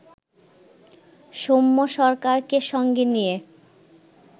সৌম্য সরকারকে সঙ্গে নিয়ে